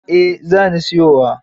Eh za ni siyowa.